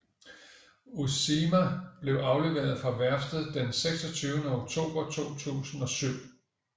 Uusimaa blev afleveret fra værftet den 26 oktober 2007